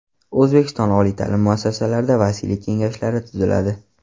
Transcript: O‘zbekiston oliy ta’lim muassasalarida vasiylik kengashlari tuziladi.